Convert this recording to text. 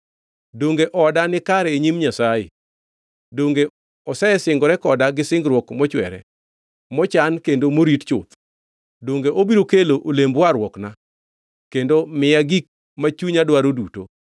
Donge oda nikare e nyim Nyasaye? Donge Osesingore koda gi singruok mochwere, mochan kendo morit chuth? Donge obiro kelo olemb warruokna kendo miya gik ma chunya dwaro duto?